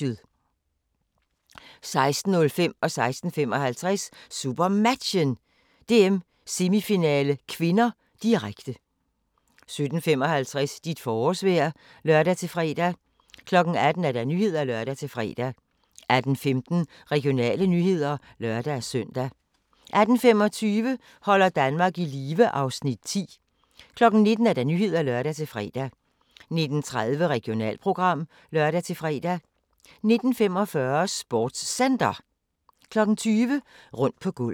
16:05: SuperMatchen: DM-semifinale (k), direkte 16:55: SuperMatchen: DM-semifinale (k), direkte 17:55: Dit forårsvejr (lør-fre) 18:00: Nyhederne (lør-fre) 18:15: Regionale nyheder (lør-søn) 18:25: Holder Danmark i live (Afs. 10) 19:00: Nyhederne (lør-fre) 19:30: Regionalprogram (lør-fre) 19:45: SportsCenter 20:00: Rundt på gulvet